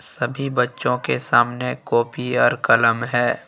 सभी बच्चों के सामने कॉपी और कलम है।